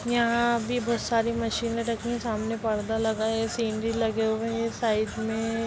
यहाँ भी बोहत सारी मशीनें रखी हैं सामने पर्दा लगा है सीनरी लगे हुए हैं साइड में --